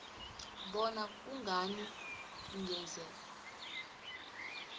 bona kungani ungeze